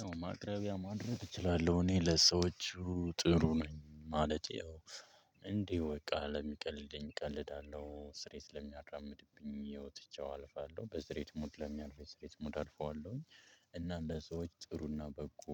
ያው ማቅረቢያ ማድረግ እችላለሁ እኔ ለሰዎች ጥሩ ነኝ ማለት ያው በቃ ለሚቀልደኝ እቀልዳለሁ ሲሪየስ ለሚያራምድብኝ ያውትቼው አልፋለሁ በሲሪየስ ሙድ ለሚያልፈው በሲሪየስ ሙድ አልፈዋለሁኝ። እና ለሰዎች ጥሩና በጎ